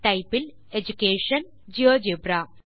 type இல் education GeoGebra